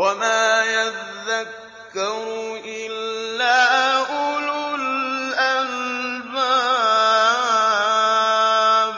وَمَا يَذَّكَّرُ إِلَّا أُولُو الْأَلْبَابِ